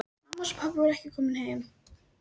Mamma hans og pabbi voru ekki komin heim.